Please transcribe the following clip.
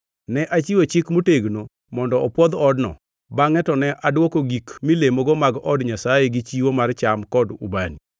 Ne achiwo chik motegno mondo opwodh odno, bangʼe to ne adwoko gik milemogo mag od Nyasaye gi chiwo mar cham kod ubani.